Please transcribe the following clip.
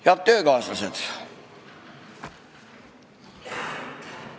Head töökaaslased!